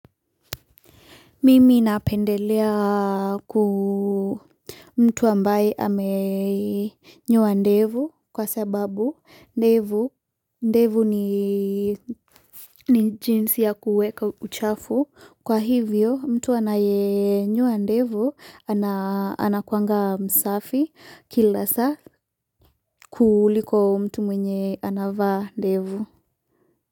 Mimi napendelea ku mtu ambaye amenyoa ndevu kwa sababu ndevu ndevu ni jinsi ya kuweka uchafu kwa hivyo mtu anayenyoa ndevu ana anakuanga msafi kila saa. Kuliko mtu mwenye anavaa ndevu.